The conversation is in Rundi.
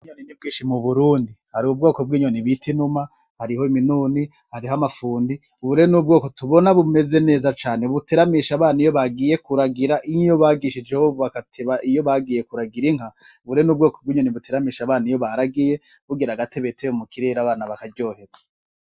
Inyoni ni bwishi mu burundi hari ubwoko bw'inyoni bita inuma hariho iminuni hariho amafundi bure n'ubwoko tubona bumeze neza cane buteramisha abana iyo bagiye kuragira iyo iyo bagishije bobakateba iyo bagiye kuragira inka bure n'ubwoko bw'inyoni buteramisha abana iyo baragiye bugira agate beteyo mu kirera abana bakaryoheba.